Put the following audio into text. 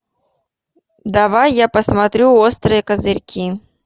давай я посмотрю острые козырьки